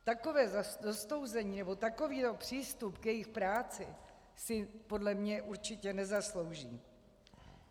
Takové zostouzení nebo takový přístup k jejich práci si podle mě určitě nezaslouží.